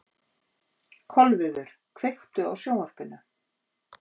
Kolviður, kveiktu á sjónvarpinu.